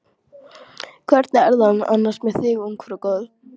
Hvernig er það annars með þig ungfrú góð.